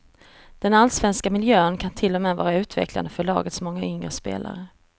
Den allsvenska miljön kan till och med vara utvecklande för lagets många yngre spelare.